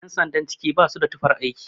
Yan sandan ciki ba su da tufar aiki